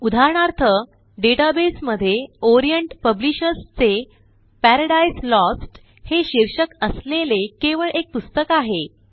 उदाहरणार्थ डेटाबेसमध्ये Orient Publishers चे पॅराडाइज लोस्ट हे शीर्षक असलेले केवळ एक पुस्तक आहे